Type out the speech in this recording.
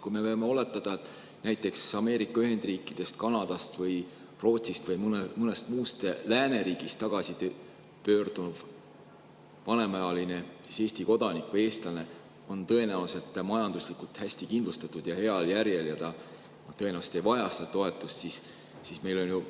Kui me võime oletada, et näiteks Ameerika Ühendriikidest, Kanadast, Rootsist või mõnest muust lääneriigist tagasipöörduv vanemaealine Eesti kodanik või eestlane on tõenäoliselt majanduslikult hästi kindlustatud ja heal järjel ning ta ei vaja seda toetust, siis on ju